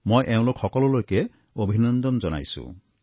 মই এওঁলোক সকলোলৈকে অভিনন্দন জনাইছোঁ